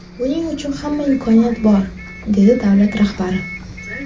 Buning uchun hamma imkoniyat bor”, dedi davlat rahbari.